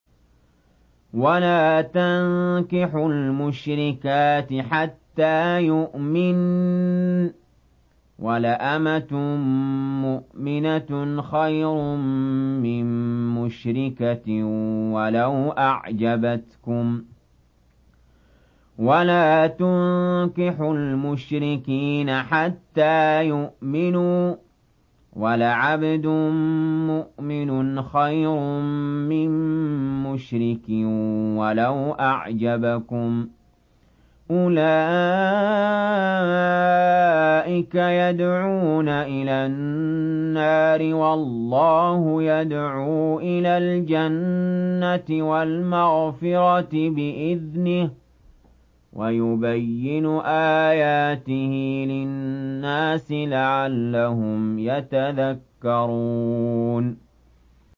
وَلَا تَنكِحُوا الْمُشْرِكَاتِ حَتَّىٰ يُؤْمِنَّ ۚ وَلَأَمَةٌ مُّؤْمِنَةٌ خَيْرٌ مِّن مُّشْرِكَةٍ وَلَوْ أَعْجَبَتْكُمْ ۗ وَلَا تُنكِحُوا الْمُشْرِكِينَ حَتَّىٰ يُؤْمِنُوا ۚ وَلَعَبْدٌ مُّؤْمِنٌ خَيْرٌ مِّن مُّشْرِكٍ وَلَوْ أَعْجَبَكُمْ ۗ أُولَٰئِكَ يَدْعُونَ إِلَى النَّارِ ۖ وَاللَّهُ يَدْعُو إِلَى الْجَنَّةِ وَالْمَغْفِرَةِ بِإِذْنِهِ ۖ وَيُبَيِّنُ آيَاتِهِ لِلنَّاسِ لَعَلَّهُمْ يَتَذَكَّرُونَ